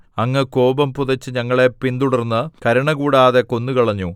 അങ്ങ് കോപം പുതച്ച് ഞങ്ങളെ പിന്തുടർന്ന് കരുണ കൂടാതെ കൊന്നുകളഞ്ഞു